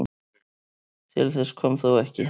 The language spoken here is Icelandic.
Til þess kom þó ekki